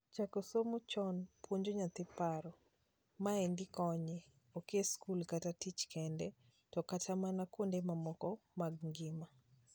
Chako somo chon puonjo nyathi paro. Maendi konye, ok e skul kata tich kende to kata mana kuonde mamoko mag ngima.